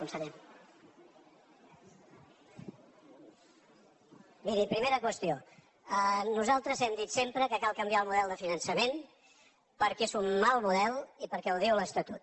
miri primera qüestió nosaltres hem dit sempre que cal canviar el model de finançament perquè és un mal model i perquè ho diu l’estatut